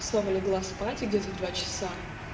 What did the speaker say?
снова легла спать где-о в два часа